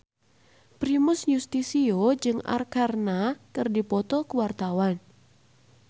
Primus Yustisio jeung Arkarna keur dipoto ku wartawan